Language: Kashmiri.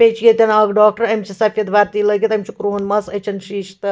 .بیٚیہِ چُھ ییٚتٮ۪ن اکھ ڈاکٹرأمِس چھ سفیدوردی لٲگِتھ أمِس چُھ کرٛہُن مَس أچھن شیٖشہٕ تہٕ